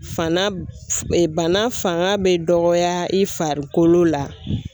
Fana ee bana fanga be dɔgɔya i farikolo la